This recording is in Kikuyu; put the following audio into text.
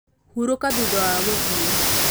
hurũka thutha wa gũthiĩ